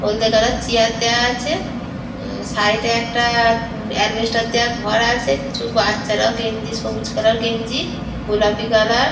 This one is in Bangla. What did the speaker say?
হলদে কালার চেয়ার দেয়া আছে। সাইড -এ একটা আসবেস্টস দেয়া ঘর আছে। কিছু বাচ্চারাও গেঞ্জি সবুজ কালার গেঞ্জি গোলাপি কালার ।